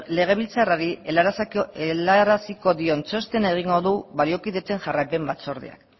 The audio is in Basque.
legebiltzarrari helaraziko dion txostena egingo du baliokidetzen jarraipen batzordeak